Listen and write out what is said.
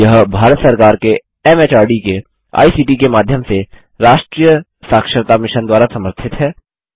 यह भारत सरकार के एमएचआरडी के आईसीटी के माध्यम से राष्ट्रीय साक्षरता मिशन द्वारा समर्थित है